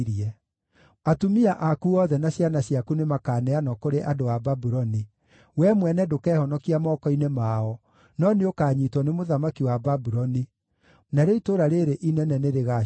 “Atumia aku othe na ciana ciaku nĩmakaneanwo kũrĩ andũ a Babuloni. Wee mwene ndũkehonokia moko-inĩ mao, no nĩũkanyiitwo nĩ mũthamaki wa Babuloni; narĩo itũũra rĩĩrĩ inene nĩrĩgacinwo rĩthire.”